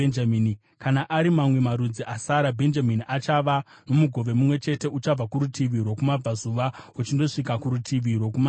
“Kana ari mamwe marudzi asara: “Bhenjamini achava nomugove mumwe chete: Uchabva kurutivi rwokumabvazuva uchindosvika kurutivi rwokumavirira.